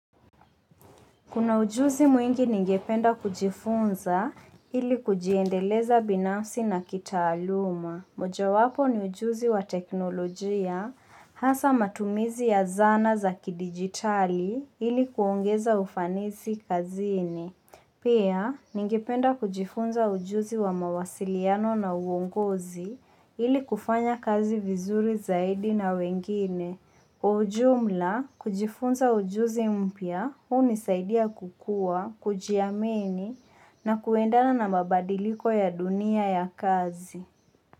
Kuna ujuzi mwingi ningependa kujifunza ili kujiendeleza binafsi na kitaaluma. Mojawapo ni ujuzi wa teknolojia, hasa matumizi ya zana za kidigitali ili kuongeza ufanisi kazini. Pia ningependa kujifunza ujuzi wa mawasiliano na uongozi ili kufanya kazi vizuri zaidi na wengine. Ujumla kujifunza ujuzi mpya hunisaidia kukuwa, kujiamini na kuendana na mabadiliko ya dunia ya kazi.